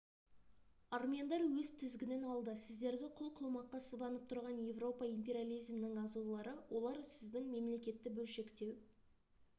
армяндар өз тізгінін алды сіздерді құл қылмаққа сыбанып тұрған европа империализмінің азулылары олар сіздің мемлекетті бөлшектеу